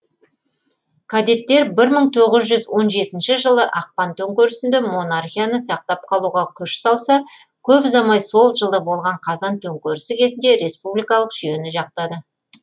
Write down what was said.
кадеттер бір мың тоғыз жүз он жетінші жылы ақпан төңкерісінде монархияны сақтап қалуға күш салса көп ұзамай сол жылы болған қазан төңкерісі кезінде республикалық жүйені жақтады